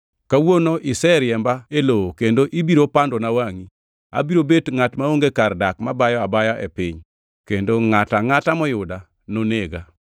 Kawuono iseriemba e lowo kendo ibiro pandona wangʼi; abiro bet ngʼat maonge kar dak mabayo abaya e piny kendo ngʼato angʼata moyuda nonega.”